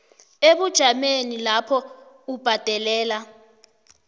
ebujameni lapho ubhadelela